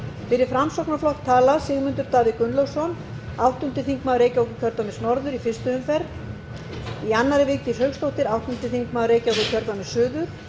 fyrir framsóknarflokk tala sigmundur davíð gunnlaugsson áttundi þingmaður reykjavíkurkjördæmis norður í fyrstu umferð í annarri vigdís hauksdóttir áttundi þingmaður reykjavíkurkjördæmis suður